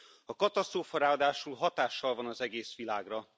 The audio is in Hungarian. A katasztrófa ráadásul hatással van az egész világra.